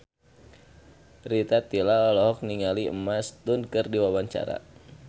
Rita Tila olohok ningali Emma Stone keur diwawancara